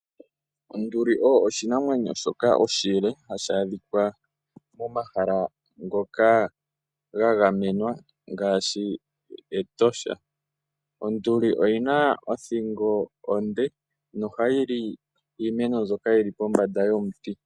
Onduli oyo oshinamwenyo shoka oshile hashi adhika momahala ngoka ga gamenwa ngaashi mEtosha. Oyi na othingo onde na ohayili omafo giimeno ngoka haga kala pombanda yomiti.